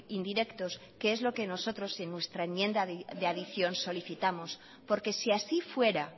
indirectos que es lo que nosotros en nuestra enmienda de adicción solicitamos porque si así fuera